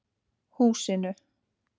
Húsinu